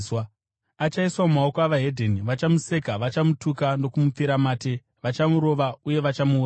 Achaiswa mumaoko evedzimwe ndudzi. Vachamuseka, vachamutuka, nokumupfira mate, vachamurova uye vachamuuraya.